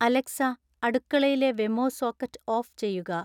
Alexa അടുക്കളയിലെ Wemo socket off ചെയ്യുക